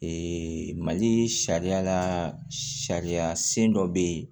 mali sariya la sariya sen dɔ bɛ yen